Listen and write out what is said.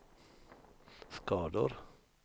skador